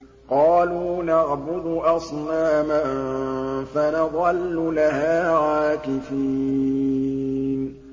قَالُوا نَعْبُدُ أَصْنَامًا فَنَظَلُّ لَهَا عَاكِفِينَ